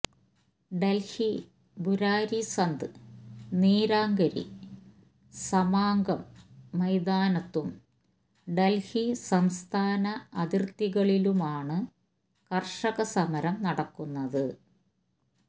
ഡൽഹി ബുരാരി സന്ത് നിരാങ്കരി സമാഗം മൈതാനത്തും ഡൽഹി സംസ്ഥാന അതിർത്തികളിലുമാണ് കർഷക സമരം നടക്കുന്നത്